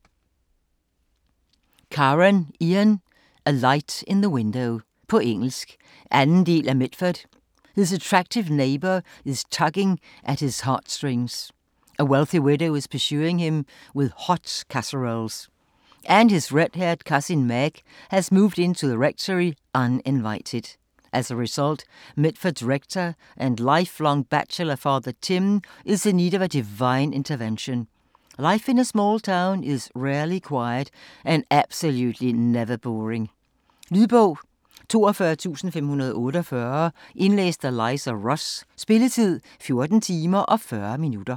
Karon, Jan: A light in the window På engelsk. 2. del af Mitford. His attractive neighbour is tugging at his heartstrings. A wealthy widow is pursuing him with hot casseroles. And his red-haired Cousin Meg has moved into the rectory, uninvited. As a result, Mitford's rector and lifelong bachelor, Father Tim, is in need of divine intervention. Life in a small town is rarely quiet and absolutely never boring. Lydbog 42548 Indlæst af Liza Ross Spilletid: 14 timer, 40 minutter.